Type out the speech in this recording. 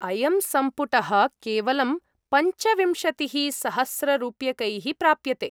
अयं सम्पुटः केवलं पञ्चविंशतिः सहस्ररूप्यकैः प्राप्यते।